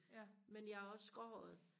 men jeg er også gråhåret